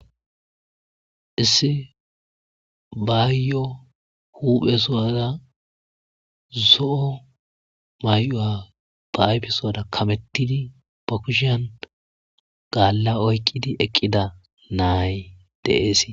Issi baayyo huphe suwaza zo'o may'o7a ba'ayfe suwada kamettidi pakushan gaalla oykqidi eqqida naay deees.